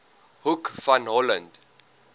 hoek van holland